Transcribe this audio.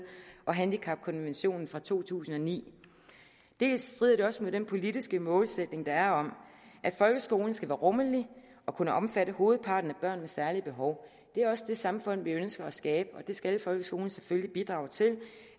og handicapkonventionen fra to tusind og ni dels strider det også mod den politiske målsætning der er om at folkeskolen skal være rummelig og kunne omfatte hovedparten af børn med særlige behov det er også det samfund vi ønsker at skabe og det skal folkeskolen selvfølgelig bidrage til